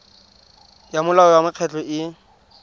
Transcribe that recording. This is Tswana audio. ya molao wa mekgatlho e